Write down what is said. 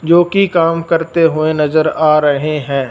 जो की काम करते हुए नजर आ रहे हैं।